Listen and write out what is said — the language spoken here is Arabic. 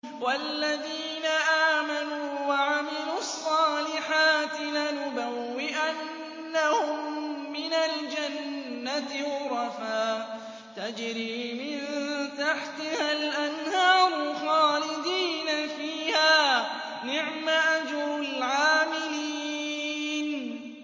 وَالَّذِينَ آمَنُوا وَعَمِلُوا الصَّالِحَاتِ لَنُبَوِّئَنَّهُم مِّنَ الْجَنَّةِ غُرَفًا تَجْرِي مِن تَحْتِهَا الْأَنْهَارُ خَالِدِينَ فِيهَا ۚ نِعْمَ أَجْرُ الْعَامِلِينَ